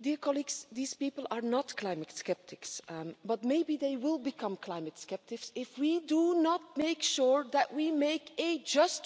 These people are not climate sceptics, but maybe they will become climate sceptics if we do not make sure that we make a just